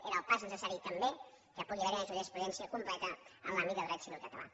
era el pas necessari també que pugui haver hi una jurisprudència completa en l’àmbit del dret civil català